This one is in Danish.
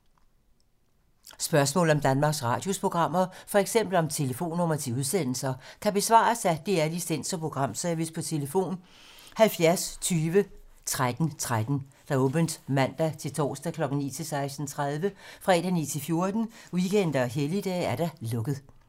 Spørgsmål om Danmarks Radios programmer, f.eks. om telefonnumre til udsendelser, kan besvares af DR Licens- og Programservice: tlf. 70 20 13 13, åbent mandag-torsdag 9.00-16.30, fredag 9.00-14.00, weekender og helligdage: lukket.